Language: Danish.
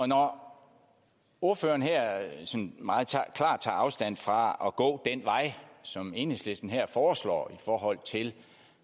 når ordføreren sådan meget klart tager afstand fra at gå den vej som enhedslisten her foreslår i forhold til